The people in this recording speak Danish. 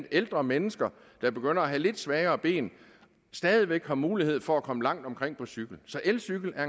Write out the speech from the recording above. ældre mennesker der begynder at have lidt svagere ben stadig væk har mulighed for at komme langt omkring på cykel så elcykler er